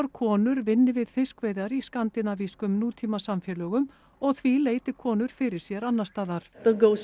konur vinni við fiskveiðar í skandinavískum nútímasamfélögum og því leiti konur fyrir sér annars staðar